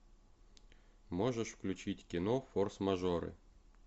можешь включить кино форс мажоры